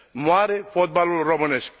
Moare fotbalul românesc.